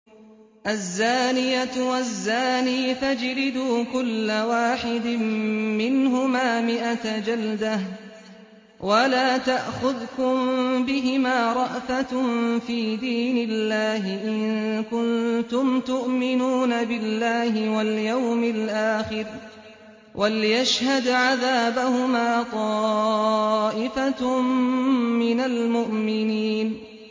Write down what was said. الزَّانِيَةُ وَالزَّانِي فَاجْلِدُوا كُلَّ وَاحِدٍ مِّنْهُمَا مِائَةَ جَلْدَةٍ ۖ وَلَا تَأْخُذْكُم بِهِمَا رَأْفَةٌ فِي دِينِ اللَّهِ إِن كُنتُمْ تُؤْمِنُونَ بِاللَّهِ وَالْيَوْمِ الْآخِرِ ۖ وَلْيَشْهَدْ عَذَابَهُمَا طَائِفَةٌ مِّنَ الْمُؤْمِنِينَ